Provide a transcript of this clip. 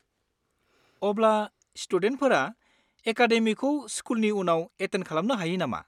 अब्ला स्टुडेन्टफोरा एकाडेमिखौ स्कुलनि उनाव एटेन्ड खालामनो हायो नामा?